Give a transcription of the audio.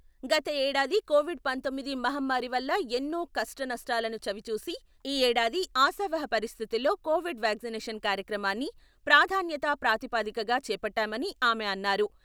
గత ఏడాది కోవిడ్ పంతోమ్మిది మహమ్మారి వల్ల ఎన్నో కష్ట, నష్టాలను చవిచూసి, ఈ ఏడాది ఆశావహ పరిస్థితుల్లో కోవిడ్ వ్యాక్సినేషన్ కార్యక్రమాన్ని ప్రాధాన్యతా ప్రాతిపదికగా చేపట్టామని ఆమె అన్నారు.